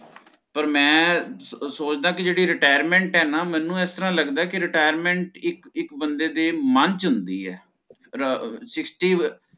ਪਰ ਮੈਂ ਸੋਚ ਸੋਚਦਾ ਕੇ ਜਿਹੜੀ Retirement ਆ ਮੈਨੂੰ ਇਸ ਤਰ੍ਹਾਂ ਲਗਦਾ ਕੇ ਇਕ ਇਕ ਬੰਦੇ ਦੇ ਮਨ ਚ ਹੁੰਦੀ ਏ ਅਰ sixty